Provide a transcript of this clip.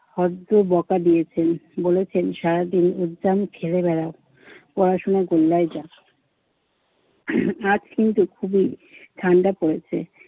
বড্ড বকা দিয়েছেন। বলেছেন, সারাদিন উদ্যাম খেলে বেড়াও, পড়াশোনা গোল্লায় যাক। আজ কিন্তু খুবই ঠান্ডা পড়েছে।